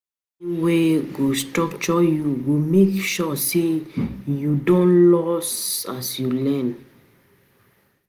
Learning wey get structure go make sure say you no dey lost as you dey learn.